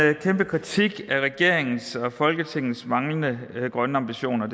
en kæmpe kritik af regeringens og folketingets manglende grønne ambitioner